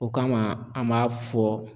O kama an b'a fɔ